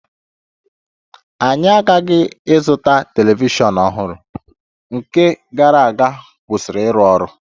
Anyị aghaghị ịzụta telivishọn ọhụrụ, nke gara aga kwụsịrị ịrụ ọrụ